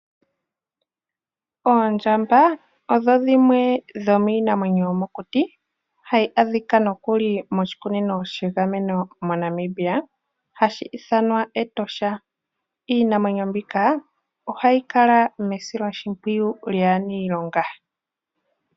Oondjamba odho dhimwe dho miinamwenyo yomokuti, hayi adhika nokuli moshikunino shegameno moNamibia, hashi ithanwa Etosha. Iinamwenyo mbika ohayi kala mesiloshimpwiyu lyaaniilonga.